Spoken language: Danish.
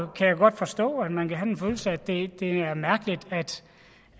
kan jo godt forstå at man kan have den følelse at det er mærkeligt